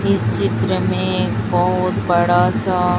इस चित्र में बहोत बड़ा सा--